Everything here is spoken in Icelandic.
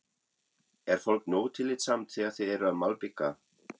Er fólk nógu tillitsamt þegar þið eruð að malbika?